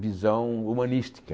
visão humanística.